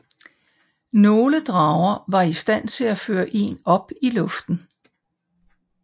Nogle drager var i stand til at føre en op i luften